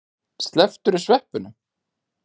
Slepptirðu sveppunum?